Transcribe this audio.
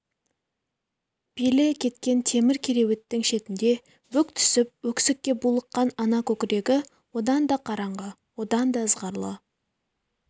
белі кеткен темір кереуеттің шетінде бүк түсіп өксікке булыққан ана көкірегі одан да қараңғы одан да ызғарлы